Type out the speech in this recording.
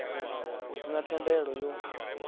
hu si na thendelo yo